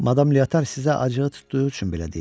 Madam Leotar sizə acığı tutduğu üçün belə deyir.